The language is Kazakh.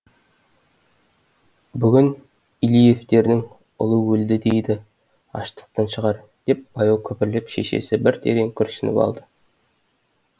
бүгін илиевтердің ұлы өлді дейді аштықтан шығар деп баяу күбірлеп шешесі бір терең күрсініп алды